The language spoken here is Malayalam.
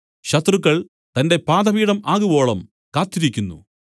ശത്രുക്കൾ തന്റെ പാദപീഠം ആകുവോളം കാത്തിരിക്കുന്നു